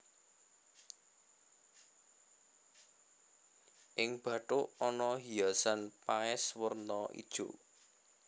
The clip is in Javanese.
Ing bathuk ana hiasan paes werna ijo